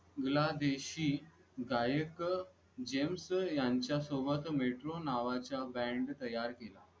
बांगलादेशी गायक यांच्या सोबत मेट्रो नावाच्या बॅन्ड तयार केला